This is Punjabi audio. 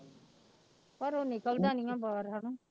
ਘਰੋਂ ਨਿਕਲਦਾ ਨੀ ਹੈ ਬਾਹਰ ਹਨਾ।